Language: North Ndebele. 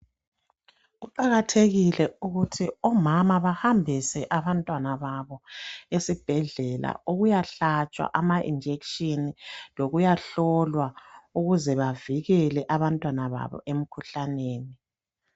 Kuqakathekile ukuthi omama behambise abantwana babo esibhedlela ukuyahlatshwa ama injection lokuyahlola ukuze bavikele abantwana babo emikhuhlaneni